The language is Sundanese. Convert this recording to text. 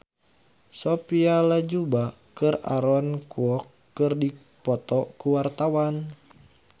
Sophia Latjuba jeung Aaron Kwok keur dipoto ku wartawan